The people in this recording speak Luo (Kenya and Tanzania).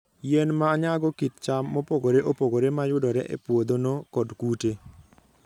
Yien ma nyago kit cham mopogore opogore ma yudore e puodhono, kod kute.